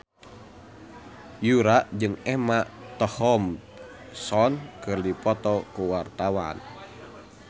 Yura jeung Emma Thompson keur dipoto ku wartawan